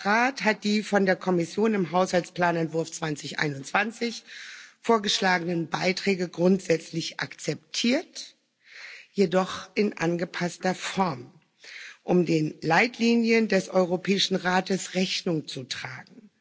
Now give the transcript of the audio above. Der Rat hat die von der Kommission im Haushaltsplanentwurf 2021 vorgeschlagenen Beiträge grundsätzlich akzeptiert, jedoch in angepasster Form, um den Leitlinien des Europäischen Rates Rechnung zu tragen.